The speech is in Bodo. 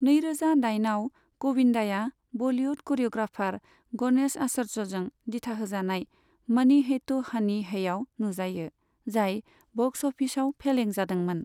नैरोजा दाइनआव, गविन्दाया बलिवुड क'रियोग्राफार गणेश आचार्यजों दिथाहोजानाय 'मनी है त' हनी है' आव नुजायो, जाय बक्स अफिसाव फेलें जादोंमोन।